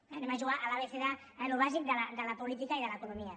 anem a jugar a l’abecé d’allò bàsic de la política i de l’economia